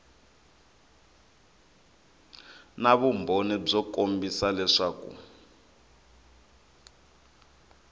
na vumbhoni byo kombisa leswaku